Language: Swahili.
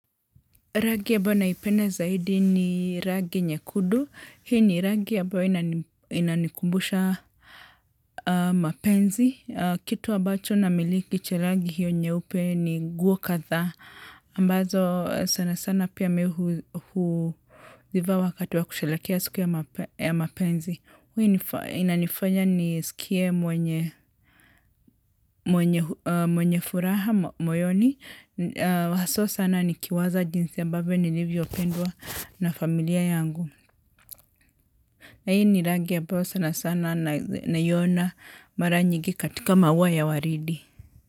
Rangi ambayo naipenda zaidi ni rangi nyekundu. Hii ni rangi ambayo inanikumbusha mapenzi. Kitu ambacho namiliki cha rangi hiyo nyeupe ni nguo kadhaa. Ambazo sana sana pia mi huzivaa wakati wa kusherehekea siku ya mapenzi. Hiu inanifanya nisikie mwenye mwenye furaha moyoni. Haswa sana nikiwaza jinsi ambavyo nilivyopendwa na familia yangu. Na hii ni rangi ambayo sana sana naiona mara nyigi katika maua ya waridi.